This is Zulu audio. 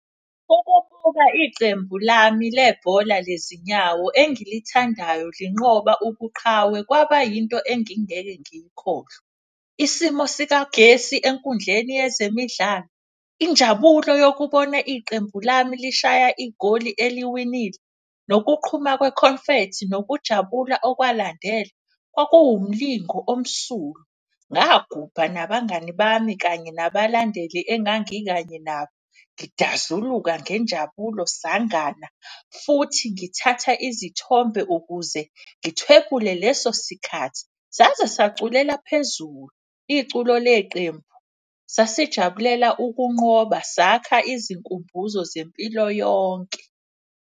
Ukubuka icembu lami lebhola lezinyawo engilithandayo linqoba ubuqhawe, kwaba yinto engingeke ngiyikhohlwe. Isimo sikagesi enkundleni yezemidlalo, injabulo yokubona iqembu lami lishaya igoli eliwinile, nokuqhuma kwe-confethi. Nokujabula okwalandela kwakuwumlingo omsulwa, ngagubha nabangani bami kanye nabalandeli engangikanye nabo. Ngidazuluka ngenjabulo, sangana futhi ngithatha izithombe ukuze ngithwephule leso sikhathi. Saze saculela phezulu iculo leqembu sasijabulela ukunqoba, sakha izinkumbuzo zempilo yonke.